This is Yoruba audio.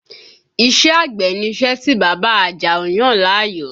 Iṣẹ́ àgbẹ̀ ni iṣẹ́ tí bàbá Àjàó yàn láàyò